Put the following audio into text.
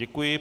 Děkuji.